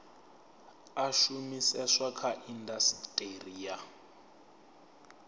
a shumiseswa kha indasiteri ya